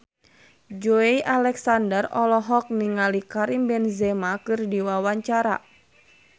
Joey Alexander olohok ningali Karim Benzema keur diwawancara